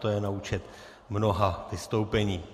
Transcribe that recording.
To je na účet mnoha vystoupení.